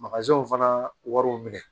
fana wariw minɛ